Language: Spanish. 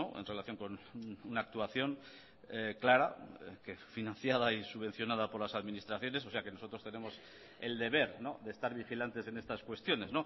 en relación con una actuación clara que financiada y subvencionada por las administraciones o sea que nosotros tenemos el deber de estar vigilantes en estas cuestiones